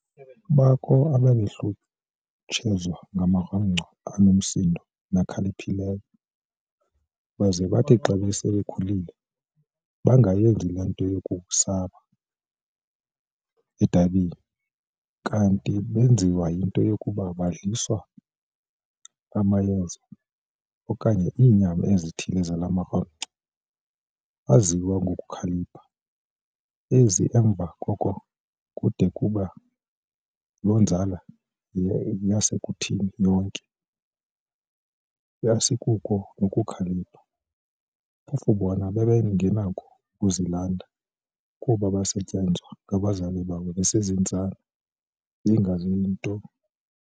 Bakho ababehlutshezwa ngamarhamncwa anomsindo nakhaliphileyo, baze bathi xa base bekhulile, bangayenzi le nto ikukusaba edabini, kanti benziwa yinto yokuba baadliswa amayeza okanye iinyama ezithile zala marhamncwa aziwa ngokukhalipha, ize emva koko kudume ukuba loo nzala yasekuthini yonke, asikuko nokukhalipha, phofu bona bengenakho ukuzilanda, kuba baasetyenzwa ngabazali babo bezintsana bengazi nto.